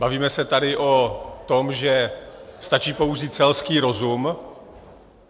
Bavíme se tady o tom, že stačí použít selský rozum.